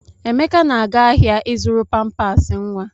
Emeka na-aga ahịa ịzụrụ pampas nwa.